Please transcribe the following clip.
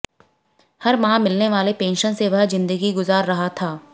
हर माह मिलने वाले पेंशन से वह जिंदगी गुजार रहा था